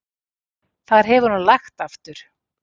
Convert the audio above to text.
Þar hefur nú lægt aftur.